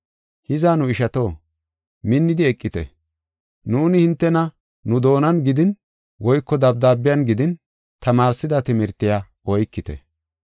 Hiza, nu ishato, minnidi eqite. Nuuni hintena nu doonan gidin woyko dabdaabiyan gidin tamaarsida timirtiya oykite.